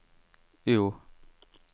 O